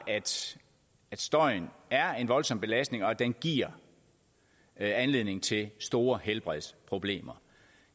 at støjen er en voldsom belastning og at den giver anledning til store helbredsproblemer